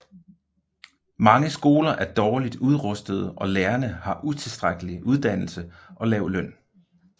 Mange skoler er dårligt udrustede og lærerne har utilstrækkelig uddannelse og lav løn